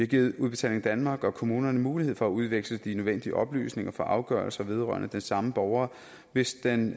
givet udbetaling danmark og kommunerne mulighed for at udveksle de nødvendige oplysninger for afgørelser vedrørende den samme borger hvis den